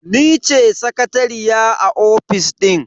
Ni ce sakatariya a ofis din.